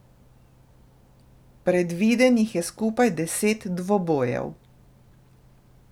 Predvidenih je skupaj deset dvobojev.